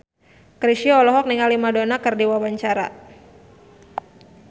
Chrisye olohok ningali Madonna keur diwawancara